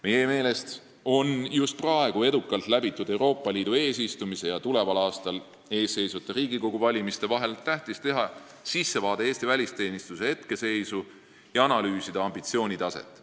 Meie meelest on just praegu, edukalt läbitud Euroopa Liidu eesistumise ja tuleval aastal ees seisvate Riigikogu valimiste vahel, tähtis teha sissevaade Eesti välisteenistuse seisu ja analüüsida ambitsioonitaset.